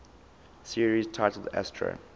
series titled astro